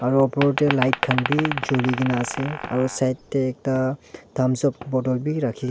aru opor te light khan bhi joli kina ase aru side te ekta tamsup bottle bhi rakhi--